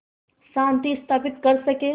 शांति स्थापित कर सकें